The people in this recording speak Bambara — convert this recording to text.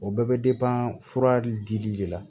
O bɛɛ bɛ fura dili de la